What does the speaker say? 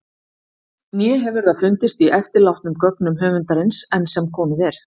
Né hefur það fundist í eftirlátnum gögnum höfundarins- enn sem komið er.